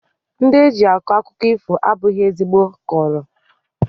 Ndị eji akọ akụkọ ifo abụghị ezigbo kọọrọ